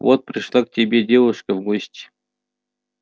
вот пришла к тебе девушка в гости